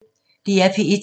DR P1